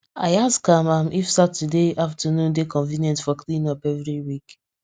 i ask am am if saturday afternoon dey convenient for cleanup every week